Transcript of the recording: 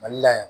Mali la yan